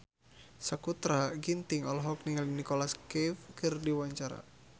Sakutra Ginting olohok ningali Nicholas Cafe keur diwawancara